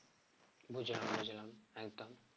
বুঝলাম বুঝলাম একদম